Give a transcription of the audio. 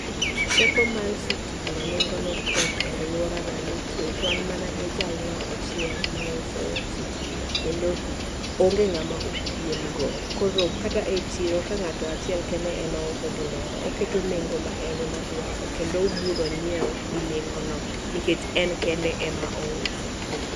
Teko mar sitima nengone tek e aluorana nikech wan mana gi jalno achiel ma uso sitima, kendo onge ng'ama opiemo go koro, kata e chiro ka ng'ato achiel kende ema uso gimoro oketo nengo ma ene modwaro kendo ubro ng'iewo gi nengo no nikech en kende omaouso.